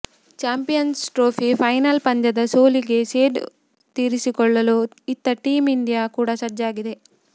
champions Trophy final ಪಂದ್ಯದ ಸೋಲಿಗೆ ಸೇಡು ತೀರಿಸಿಕೊಳ್ಳಲು ಇತ್ತ ಟೀಂ ಇಂಡಿಯಾ ಕೂಡ ಸಜ್ಜಾಗಿದೆ